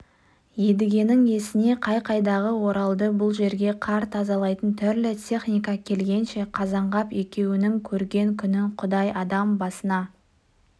едігенің есіне қай-қайдағы оралды бұл жерге қар тазалайтын түрлі техника келгенше қазанғап екеуінің көрген күнін құдай адам баласына